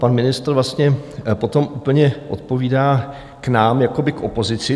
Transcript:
Pan ministr vlastně potom úplně odpovídá k nám, jakoby k opozici.